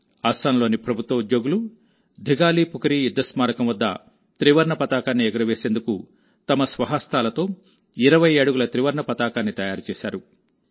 అస్సాంలోని ప్రభుత్వ ఉద్యోగులు దిఘాలిపుఖురి యుద్ధ స్మారకం వద్ద త్రివర్ణ పతాకాన్ని ఎగురవేసేందుకు తమ స్వహస్తాలతో 20 అడుగుల త్రివర్ణ పతాకాన్ని తయారు చేశారు